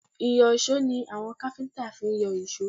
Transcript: Ìyọ̀ṣó ni àwọn káfíńtà fi ń yọ èsó